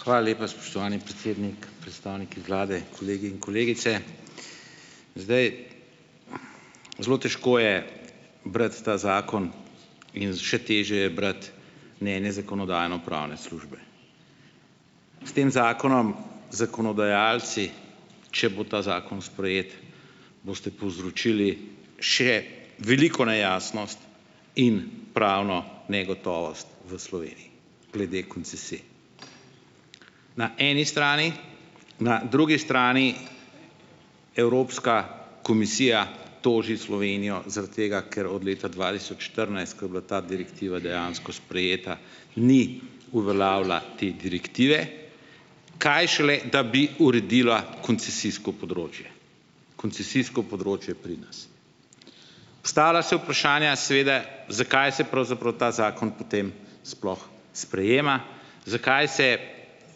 Hvala lepa, spoštovani predsednik, predstavniki vlade, kolegi in kolegice. Zdaj, zelo težko je brati ta zakon in še težje je brati mnenje zakonodajno-pravne službe. S tem zakonom zakonodajalci, če bo ta zakon sprejet, boste povzročili še veliko nejasnost in pravno negotovost v Sloveniji glede koncesij, na eni strani. Na drugi strani, Evropska komisija toži Slovenijo zaradi tega, ker od leta dva tisoč štirinajst, ko je bila ta direktiva dejansko sprejeta, ni uveljavila te direktive. Kaj šele, da bi uredila koncesijsko področje. Koncesijsko področje pri nas. Postavlja se vprašanje seveda, zakaj se pravzaprav ta zakon potem sploh sprejema, zakaj se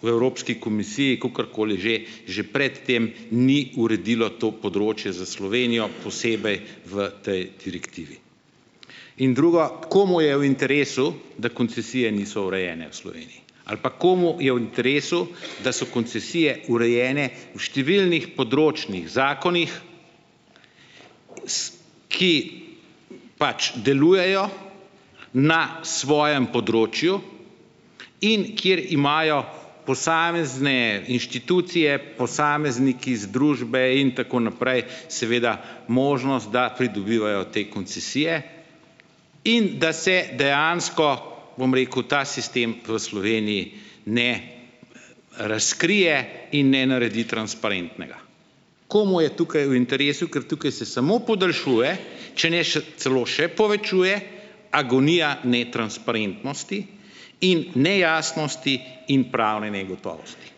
v Evropski komisiji, kakorkoli že, že prej tem ni uredilo to področje za Slovenijo posebej v tej direktivi. In drugo, komu je v interesu, da koncesije niso urejene v Sloveniji. Ali pa komu je v interesu, da so koncesije urejene v številnih področnih zakonih ki pač delujejo na svojem področju in kjer imajo posamezne inštitucije, posamezniki, združbe in tako naprej, seveda možnost, da pridobivajo te koncesije in da se dejansko, bom rekel, ta sistem v Sloveniji, ne, razkrije in ne naredi transparentnega. Komu je tukaj v interesu, ker tukaj se samo podaljšuje , če ne celo še povečuje, agonija netransparentnosti in nejasnost in pravne negotovosti.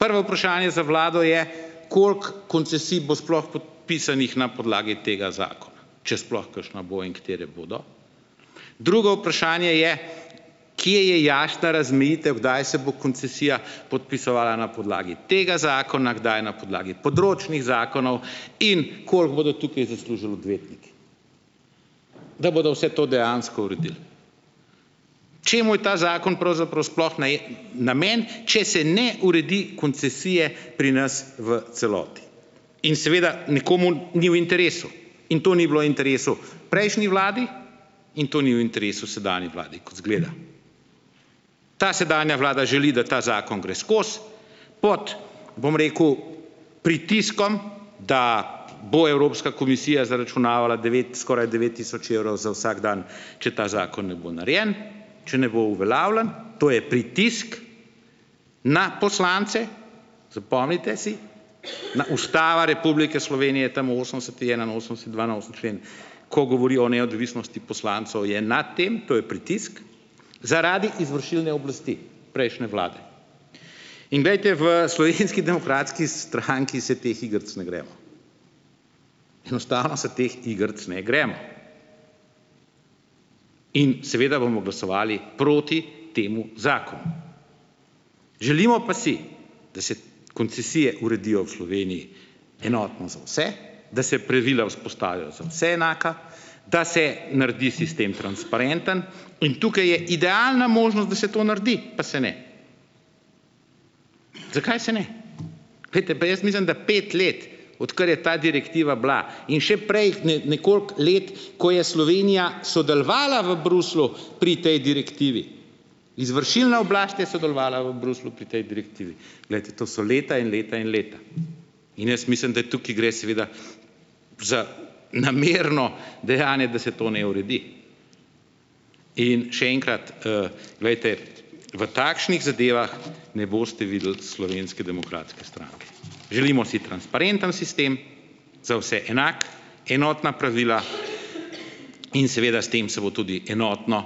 Prvo vprašanje za vlado je, koliko koncesij bo sploh podpisanih na podlagi tega zakona, če sploh kakšna bo in katere bodo. Drugo vprašanje je, kje je jasna razmejitev, kdaj se bo koncesija podpisovala na podlagi tega zakona, kdaj na podlagi področnih zakonov in koliko bodo tukaj zaslužili odvetniki, da bodo vse to dejansko uredili? Čemu je ta zakon pravzaprav namenjen, če se ne uredi koncesije pri nas v celoti. In seveda nekomu ni v interesu in to ni bilo v interesu prejšnji vladi in to ni v interesu sedanji vladi, kot izgleda. Ta sedanja vlada želi, da ta zakon gre skozi pod, bom rekel, pritiskom, da bo Evropska komisija zaračunavala devet, skoraj devet tisoč evrov za vsak dan, če ta zakon ne bo narejen, če ne bo uveljavljen, to je pritisk na poslance, zapomnite si, da Ustava Republike Slovenije, tam osemdeseti, enainosemdeseti, dvainosemdeseti člen, ko govori o neodvisnosti poslancev, je nad tem, to je pritisk zaradi izvršilne oblasti prejšnje vlade. In glejte v Slovenski demokratski stranki se teh igric ne gremo. Enostavno se teh igric ne gremo. In seveda bomo glasovali proti temu zakonu. Želimo pa si, da se koncesije uredijo v Sloveniji enotno za vse, da se pravila vzpostavijo za vse enaka, da se naredi sistem transparenten in tukaj je idealna možnost, da se to naredi, pa se ne. Zakaj se ne? Glejte, pa jaz mislim, da pet let, odkar je ta direktiva bila in še prej nekoliko let, ko je Slovenija sodelovala v Bruslju pri tej direktivi. Izvršilna oblast je sodelovala v Bruslju pri tej direktivi. Glejte to so leta in leta in leta. In jaz mislim, da tukaj gre seveda za namerno dejanje, da se to ne uredi. In še enkrat, glejte, v takšnih zadevah ne boste videli Slovenske demokratske stranke. Želimo si transparenten sistem za vse enak, enotna pravila in seveda s tem se bo tudi enotno,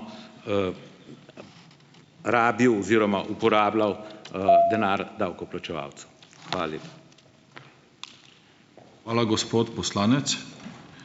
rabil oziroma uporabljal, denar davkoplačevalcev. Hvala lepa. Hvala, gospod poslanec.